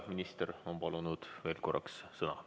Minister on palunud veel korraks sõna.